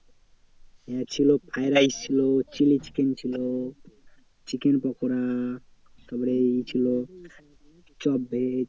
ছিল fried rice ছিল chilli chicken ছিল chicken pakora তারপরে এঁচোড় পমফ্রেট